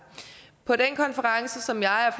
på den konference som jeg og